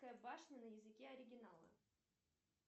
к башня на языке оригинала